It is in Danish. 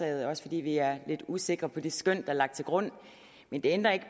er også fordi vi er lidt usikre på det skøn der er lagt til grund men det ændrer ikke